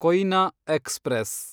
Koyna express